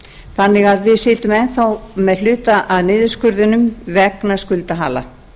þannig að við sitjum enn þá með hluta af niðurskurðinum vegna skuldahala